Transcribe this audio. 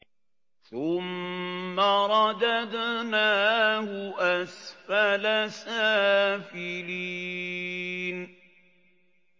ثُمَّ رَدَدْنَاهُ أَسْفَلَ سَافِلِينَ